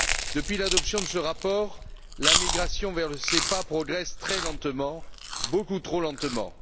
Depuis l'adoption de ce rapport, la migration vers le SEPA progresse très lentement, beaucoup trop lentement.